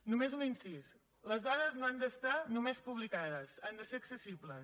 només un incís les dades no han d’estar només publicades han de ser accessibles